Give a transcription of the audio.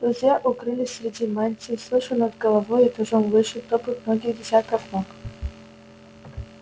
друзья укрылись среди мантий слыша над головой этажом выше топот многих десятков ног